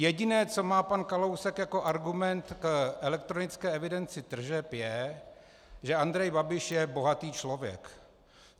Jediné, co má pan Kalousek jako argument k elektronické evidenci tržeb, je, že Andrej Babiš je bohatý člověk.